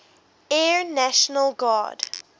air national guard